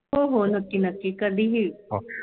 हो हो नक्की नक्की कधीही